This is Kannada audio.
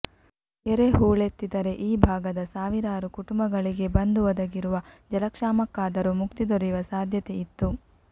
ಕೆರೆ ಹೂಳೆತ್ತಿದ್ದರೆ ಈ ಭಾಗದ ಸಾವಿರಾರು ಕುಟುಂಬಗಳಿಗೆ ಬಂದು ಒದಗಿರುವ ಜಲಕ್ಷಾಮಕ್ಕಾದರೂ ಮುಕ್ತಿ ದೊರೆಯುವ ಸಾಧ್ಯತೆ ಇತ್ತು